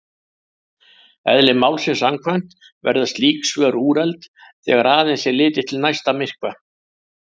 Eðli málsins samkvæmt verða slík svör úrelt þegar aðeins er litið til næsta myrkva.